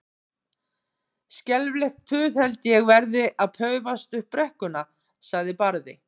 Skelfilegt puð held ég verði að paufast upp brekkurnar, sagði Barði.